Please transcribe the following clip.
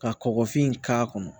Ka kɔgɔfin k'a kɔnɔ